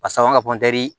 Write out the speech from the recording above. A sababu ka